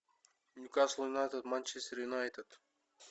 нью касл юнайтед манчестер юнайтед